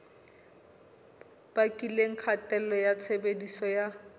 bakileng kgatello ya tshebediso ya